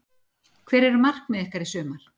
Hver eru markmið ykkar í sumar?